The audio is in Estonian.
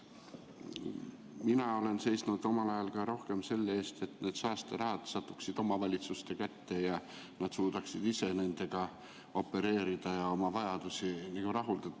Mina olen seisnud omal ajal rohkem selle eest, et need saasterahad satuksid omavalitsuste kätte ja nad suudaksid ise nendega opereerida ja oma vajadusi rahuldada.